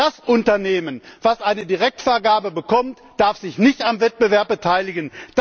Das Unternehmen, das eine Direktvergabe bekommt, darf sich nicht am Wettbewerb beteiligen.